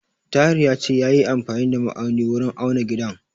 Tahir ya ce yayi amfani da ma'auni wurin auna gidan.